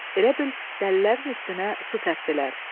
Elə bil dəlilərin üstünə su səpdilər.